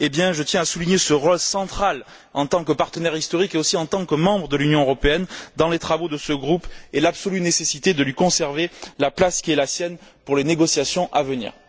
Je tiens à souligner le rôle central de cette dernière, en tant que partenaire historique et aussi en tant que membre de l'Union européenne, dans les travaux de ce groupe et l'absolue nécessité de lui conserver la place qui est la sienne pour les négociations à venir.